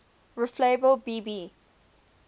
reflabel b b